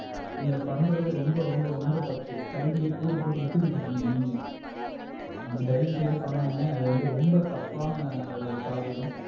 நீங்க பண்றது ரொம்ப ரொம்ப ரொம்ப தப்பு கல்வியை கூறுபோட்டு வித்துக்குட்டு இருக்கீங்க நீங்க. அம்பி தயவு செய்து பண்ணாதீங்க. அது வந்து ரொம்ப தப்பான ஒரு காரியம்.